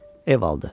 Ev aldı.